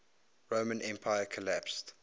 roman empire collapsed